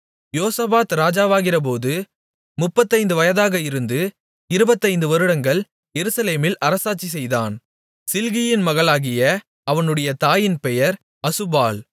யோசபாத் ராஜாவாகிறபோது முப்பத்தைந்து வயதாக இருந்து இருபத்தைந்து வருடங்கள் எருசலேமில் அரசாட்சிசெய்தான் சில்கியின் மகளாகிய அவனுடைய தாயின்பெயர் அசுபாள்